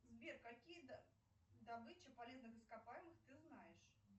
сбер какие добычи полезных ископаемых ты знаешь